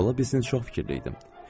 Ola bilsin çox fikirli idim.